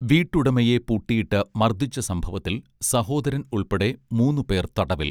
വീട്ടുടമയെ പൂട്ടിയിട്ട് മർദ്ദിച്ച സംഭവത്തിൽ സഹോദരൻ ഉൾപ്പെടെ മൂന്നുപേർ തടവിൽ